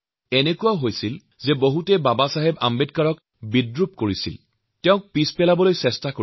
এনে সময়ত ড০ আম্বেদকাৰকলৈ বিদ্ৰুপ আৰু ঠাট্টা কৰা পৰিলক্ষিত হৈছে